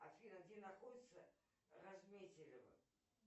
афина где находится разметелево